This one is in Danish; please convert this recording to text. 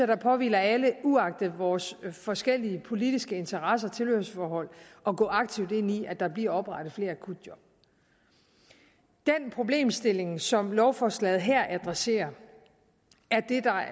det påhviler alle uagtet vores forskellige politiske interesser og tilhørsforhold at gå aktivt ind i at der bliver oprettet flere akutjob den problemstilling som lovforslaget her adresserer